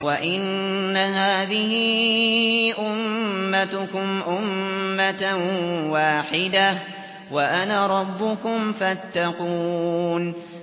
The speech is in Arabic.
وَإِنَّ هَٰذِهِ أُمَّتُكُمْ أُمَّةً وَاحِدَةً وَأَنَا رَبُّكُمْ فَاتَّقُونِ